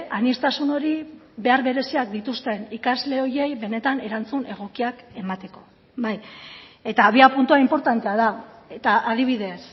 aniztasun hori behar bereziak dituzten ikasle horiei benetan erantzun egokiak emateko bai eta abiapuntua inportantea da eta adibidez